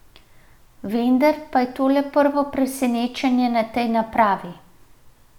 Vendar pa je to le prvo presenečenje na tej napravi.